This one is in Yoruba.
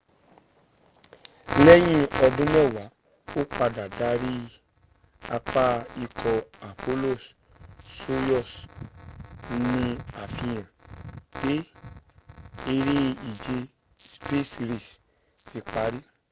lẹ́yìn ọdún mẹ́wáá ó padà darí apá ikọ̀ apollo-soyuz ní àfihàn pé eré ìje space race ti pari